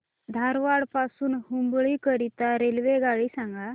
धारवाड पासून हुबळी करीता रेल्वेगाडी सांगा